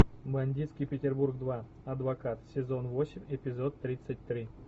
бандитский петербург два адвокат сезон восемь эпизод тридцать три